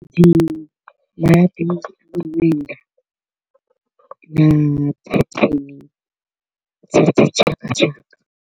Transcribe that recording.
Dzi malabi a miṅwenda na pattern dza dzi tshaka tshaka.